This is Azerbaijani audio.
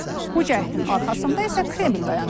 Bu cəhdin arxasında isə Kreml dayanır.